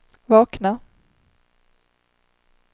vakna